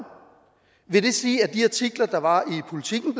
vil det sige at de artikler der var i politiken